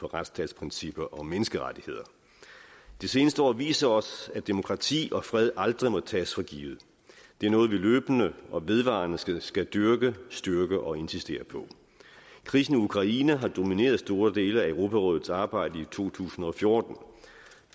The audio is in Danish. retsstatsprincipper og menneskerettigheder det seneste år har vist os at demokrati og fred aldrig må tages for givet det er noget vi løbende og vedvarende skal skal dyrke styrke og insistere på krisen i ukraine har domineret store dele af europarådets arbejde i to tusind og fjorten